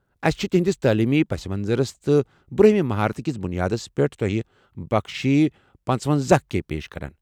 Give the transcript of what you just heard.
اسہِ چھ تِہنٛدِس تعلیمی پس منظرس تہٕ برونٛہِمہِ مہارتہٕ کِس بُنیادس پٮ۪ٹھ تۄہہِ بخشی پانژونَزَہ کے پیش کران۔